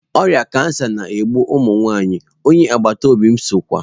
Oria kansa na-egbu ụmụ nwanyị, onye agbata obi m sokwa.